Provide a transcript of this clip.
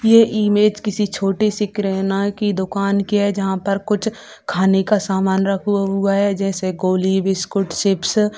ये इमेज किसी छोटे से किराना की दुकान की है जहाँ पर कुछ खाने का सामान रखा हुआ है जैसे गोली बिस्कुट चिप्स